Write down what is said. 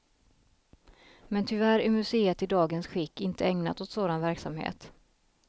Men tyvärr är museet i dagens skick inte ägnat åt sådan verksamhet.